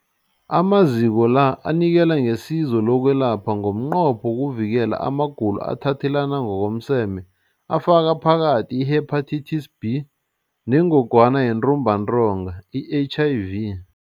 Amaziko la anikela ngesizo lokwelapha ngomnqopho wokuvikela amagulo athathelana ngokomseme afaka phakathi i-Hepatitis B neNgogwana yeNtumbantonga, i-HIV.